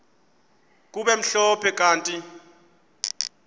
kube mhlophe kanti